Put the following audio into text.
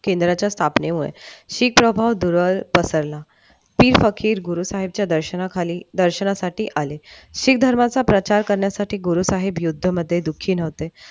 केंद्राच्या स्थापनेवर सिख दुरावा पसरला पीर फकीर गुरु साहेबांचे दर्शनासाठी आलेख धर्माचा प्रचार करण्यासाठी गुरु साहेब युद्धामध्ये दुखी नाही होते